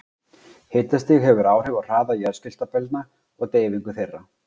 Hitastig hefur áhrif á hraða jarðskjálftabylgna og deyfingu þeirra.